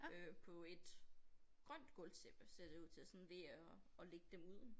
Øh på et grønt gulvtæppe ser det ud til og sådan ved at at lægge dem ud